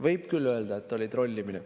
Võib küll öelda, et oli trollimine.